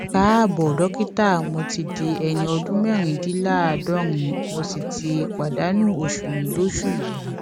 káàbò dókítà mo ti di ẹni ọdún mẹrìndínláàádọrin mo sì ti pàdánù oṣù mi lóṣù yìí